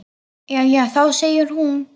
Jæja þá, segir hún.